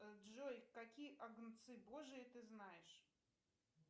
джой какие агнцы божьи ты знаешь